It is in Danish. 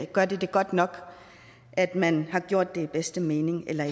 godt godt nok at man har gjort den bedste mening eller